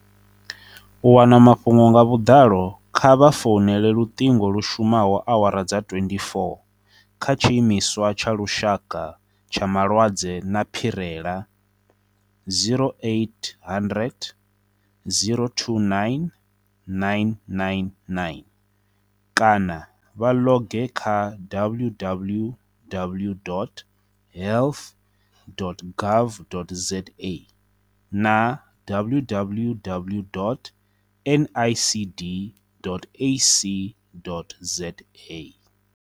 U wana mafhungo nga vhuḓalo kha vha founele luṱingo lu shumaho awara dza 24 kha Tshiimiswa tsha Lushaka tsha Malwadze a Phirela 0800 029 999 kana vha ḽoge kha www.health.gov.za na www.nicd.ac.za